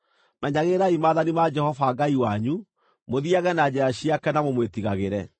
Menyagĩrĩrai maathani ma Jehova Ngai wanyu, mũthiage na njĩra ciake na mũmwĩtigagĩre.